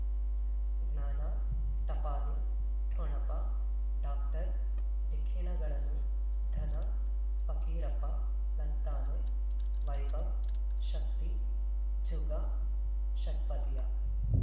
ಜ್ಞಾನ ಟಪಾಲು ಠೊಣಪ ಡಾಕ್ಟರ್ ಢಿಕ್ಕಿ ಣಗಳನು ಧನ ಫಕೀರಪ್ಪ ಳಂತಾನೆ ವೈಭವ್ ಶಕ್ತಿ ಝುಗಾ ಷಟ್ಪದಿಯ